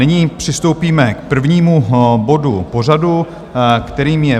Nyní přistoupíme k prvnímu bodu pořadu, kterým je